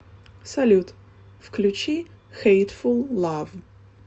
салют включи хейтфул лав